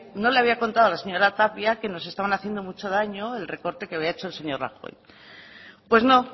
no le había contado la señora tapia que nos estaban haciendo mucho daño el recorte que había hecho el señor rajoy pues no